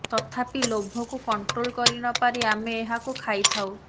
ତଥାପି ଲୋଭକୁ କଣ୍ଟ୍ରୋଲ କରି ନ ପାରି ଆମେ ଏହାକୁ ଖାଇଥାଉ